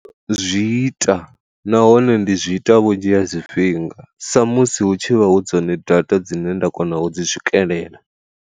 Zwi ita nahone ndi zwi ita vhunzhi ha zwifhinga sa musi hu tshi vha hu dzone data dzine nda kona u dzi swikelela.